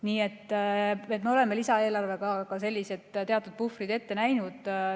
Nii et me oleme lisaeelarvega ka sellised teatud puhvrid ette näinud.